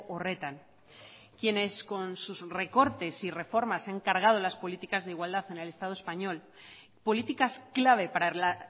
horretan quienes con sus recortes y reformas se han cargado las políticas de igualdad en el estado español políticas clave para la